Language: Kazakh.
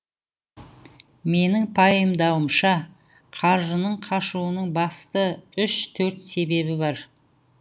менің пайымдауымша қаржының қашуының басты үш төрт себебі бар